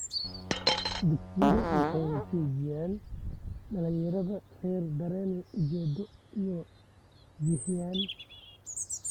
Dugsiyadu waxay siiyaan dhalinyarada rer dareen ujeedo iyo jihayn.